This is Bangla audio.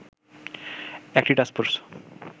একটি টাস্ক ফোর্স